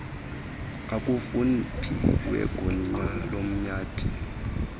okufuphi wegunya loomantyi